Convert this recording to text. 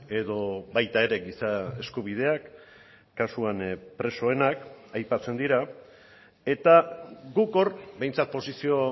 edo baita ere giza eskubideak kasuan presoenak aipatzen dira eta guk hor behintzat posizio